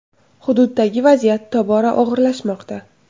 Hududdagi vaziyat tobora og‘irlashmoqda.